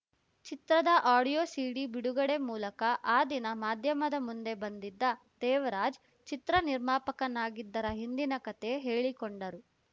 ಚಿತ್ರದ audio CD ಬಿಡುಗಡೆ ಮೂಲಕ ಆ ದಿನ ಮಾಧ್ಯಮದ ಮುಂದೆ ಬಂದಿದ್ದ ದೇವರಾಜ್‌ ಚಿತ್ರ ನಿರ್ಮಾಪಕನಾಗಿದ್ದರ ಹಿಂದಿನ ಕತೆ ಹೇಳಿಕೊಂಡರು